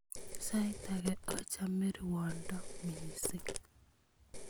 Sait ake achame rwondo missing'